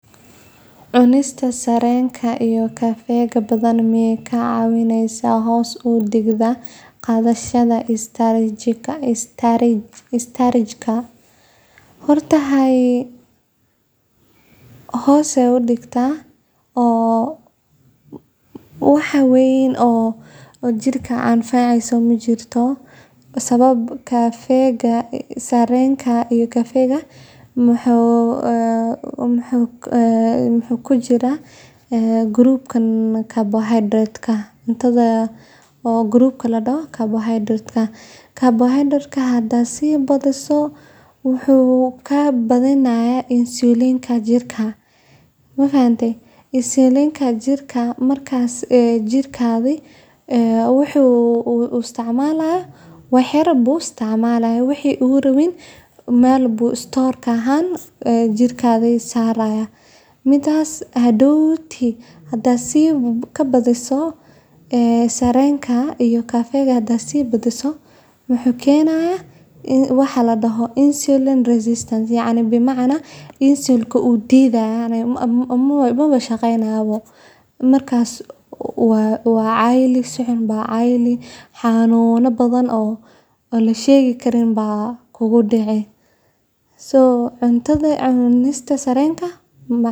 Cunista kafeyga iyo sonkorta badan waxay si toos ah u saameyn karaan heerarka tamarta iyo niyadda, laakiin kuma fiicna ka caawinta hoos u dhigista dareenka ama deganaanta. Inkastoo kafeygu si ku-meel-gaar ah u kordhin karo feejignaanta iyo maskax furaanta sababtoo ah kicinta uu ku sameeyo habka neerfaha dhexe, isticmaalka badan wuxuu sababi karaa culeysyo kale sida hurdo la'aan, walwal, gariir iyo garaacista wadnaha oo xawli ku socota. Dhanka kale, sonkorta badan waxay si degdeg ah u kordhisaa heerka sonkorta dhiigga taasoo